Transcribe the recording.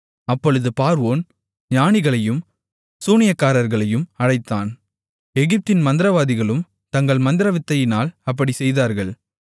அப்பொழுது பார்வோன் ஞானிகளையும் சூனியக்காரர்களையும் அழைத்தான் எகிப்தின் மந்திரவாதிகளும் தங்கள் மந்திரவித்தையினால் அப்படிச் செய்தார்கள்